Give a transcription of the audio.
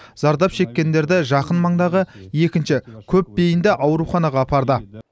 зардап шеккендерді жақын маңдағы екінші көпбейінді ауруханаға апарды